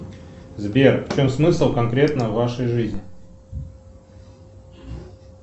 сбер в чем смысл конкретно вашей жизни